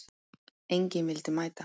Enginn vildi mæta.